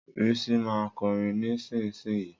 Risi ma kọrin nísinsìnyí.